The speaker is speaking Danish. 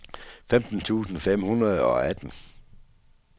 femten tusind fem hundrede og atten